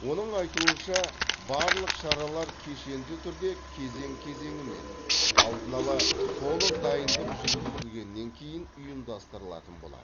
оның айтуынша барлық шаралар кешенді түрде кезең кезеңімен алдын ала толық дайындық жүргізілгеннен кейін ұйымдастырылатын болады